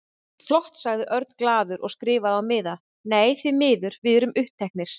Flott sagði Örn glaður og skrifaði á miða: Nei, því miður, við erum uppteknir